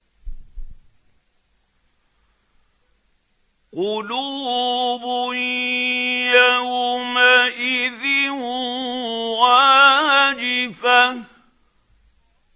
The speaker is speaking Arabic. قُلُوبٌ يَوْمَئِذٍ وَاجِفَةٌ